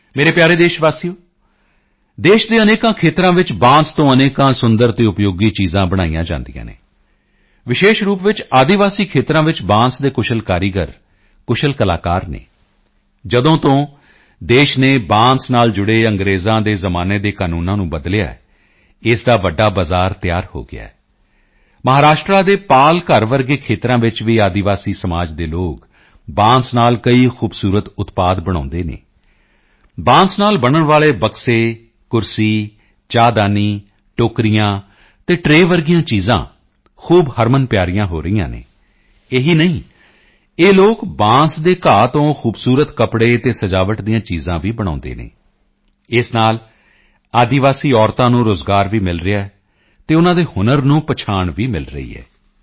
ਮੇਰੇ ਪਿਆਰੇ ਦੇਸ਼ਵਾਸੀਓ ਦੇਸ਼ ਦੇ ਅਨੇਕ ਖੇਤਰਾਂ ਵਿੱਚ ਬਾਂਸ ਤੋਂ ਅਨੇਕ ਸੁੰਦਰ ਅਤੇ ਉਪਯੋਗੀ ਚੀਜ਼ਾਂ ਬਣਾਈਆਂ ਜਾਂਦੀਆਂ ਹਨ ਵਿਸ਼ੇਸ਼ ਰੂਪ ਚ ਆਦਿਵਾਸੀ ਖੇਤਰਾਂ ਵਿੱਚ ਬਾਂਸ ਦੇ ਕੁਸ਼ਲ ਕਾਰੀਗਰ ਕੁਸ਼ਲ ਕਲਾਕਾਰ ਹਨ ਜਦੋਂ ਤੋਂ ਦੇਸ਼ ਨੇ ਬਾਂਸ ਨਾਲ ਜੁੜੇ ਅੰਗ੍ਰੇਜ਼ਾਂ ਦੇ ਜ਼ਮਾਨੇ ਦੇ ਕਾਨੂੰਨਾਂ ਨੂੰ ਬਦਲਿਆ ਹੈ ਇਸ ਦਾ ਵੱਡਾ ਬਜ਼ਾਰ ਤਿਆਰ ਹੋ ਗਿਆ ਹੈ ਮਹਾਰਾਸ਼ਟਰ ਦੇ ਪਾਲ ਘਰ ਵਰਗੇ ਖੇਤਰਾਂ ਵਿੱਚ ਵੀ ਆਦਿਵਾਸੀ ਸਮਾਜ ਦੇ ਲੋਕ ਬਾਂਸ ਨਾਲ ਕਈ ਖੂਬਸੂਰਤ ਉਤਪਾਦ ਬਣਾਉਂਦੇ ਹਨ ਬਾਂਸ ਨਾਲ ਬਣਨ ਵਾਲੇ ਬਕਸੇ ਕੁਰਸੀ ਚਾਹਦਾਨੀ ਟੋਕਰੀਆਂ ਅਤੇ ਟ੍ਰੇਅ ਜਿਹੀਆਂ ਚੀਜ਼ਾਂ ਖੂਬ ਹਰਮਨਪਿਆਰੀਆਂ ਹੋ ਰਹੀਆਂ ਹਨ ਇਹੀ ਨਹੀਂ ਇਹ ਲੋਕ ਬਾਂਸ ਦੇ ਘਾਹ ਤੋਂ ਖੂਬਸੂਰਤ ਕੱਪੜੇ ਅਤੇ ਸਜਾਵਟ ਦੀਆਂ ਚੀਜ਼ਾਂ ਵੀ ਬਣਾਉਂਦੇ ਹਨ ਇਸ ਨਾਲ ਆਦਿਵਾਸੀ ਮਹਿਲਾਵਾਂ ਨੂੰ ਰੋਜ਼ਗਾਰ ਵੀ ਮਿਲ ਰਿਹਾ ਹੈ ਅਤੇ ਉਨ੍ਹਾਂ ਦੇ ਹੁਨਰ ਨੂੰ ਪਹਿਚਾਣ ਵੀ ਮਿਲ ਰਹੀ ਹੈ